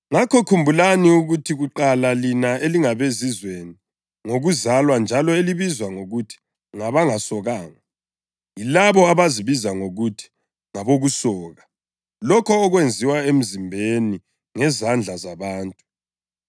Ngakho, khumbulani ukuthi kuqala lina elingabeZizweni ngokuzalwa njalo elibizwa ngokuthi “ngabangasokanga” yilabo abazibiza ngokuthi “ngabokusoka” (lokho okwenziwa emzimbeni ngezandla zabantu),